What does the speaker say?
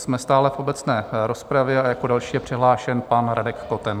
Jsme stále v obecné rozpravě a jako další je přihlášen pan Radek Koten.